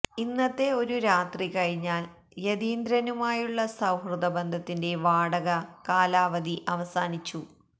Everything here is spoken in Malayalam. ഇന്നത്തെ ഒരു രാത്രി കഴിഞ്ഞാല് യതീന്ദ്രനുമായുള്ള സുഹൃത്ബന്ധത്തിന്റെ വാടക കാലാവധി അവസാനിച്ചു